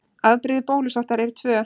Afbrigði bólusóttar eru tvö.